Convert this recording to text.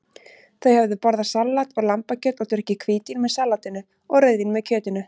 Þau höfðu borðað salat og lambakjöt og drukkið hvítvín með salatinu og rauðvín með kjötinu.